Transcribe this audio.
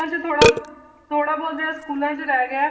'ਚ ਥੋੜ੍ਹਾ ਥੋੜ੍ਹਾ ਬਹੁਤ ਇਹ ਸਕੂਲਾਂ 'ਚ ਰਹਿ ਗਿਆ ਹੈ